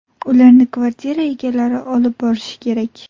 Ularni kvartira egalari olib borishi kerak.